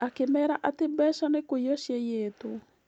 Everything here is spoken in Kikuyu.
Akĩmeera atĩ mbeca nĩ kũiywo ciaiyĩtwo.